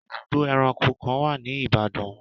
Ibùdó ẹranko kan wà ní Ibadan.